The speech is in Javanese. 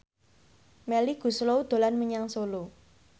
Melly Goeslaw dolan menyang Solo